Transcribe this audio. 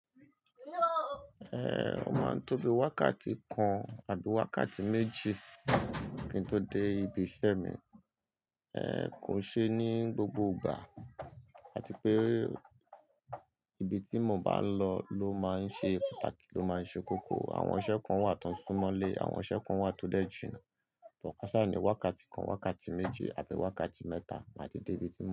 Eh, ó máa ń tóbi wákàtí kan àbí wákàtí méjì ki n to dé ibi iṣẹ́ mi. Eh, kò ṣe ní gbogbo ìgbà àti pé ibi tí mo bá ń lọ ló máa ń ṣe pàtàkì, ló máa ń ṣe kókó. Àwọn iṣẹ́ kan wà tó sún mọ́lé, àwọn iṣẹ́ kan wà tó dẹ jìnà káṣá ní wákàtí kan, wákàtí méjì àbí wákàtí mẹ́ta má di dé ibi tí mo ń lọ.